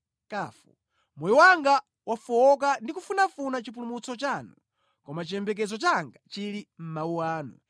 Moyo wanga wafowoka ndi kufunafuna chipulumutso chanu, koma chiyembekezo changa chili mʼmawu anu.